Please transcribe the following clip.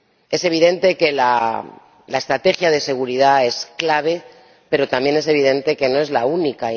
Es evidente que la estrategia de seguridad es clave, pero también es evidente que no es la única.